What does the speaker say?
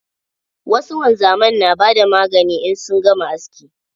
Wasu wanzamai na bada magani in sun gama aski.